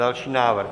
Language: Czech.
Další návrh?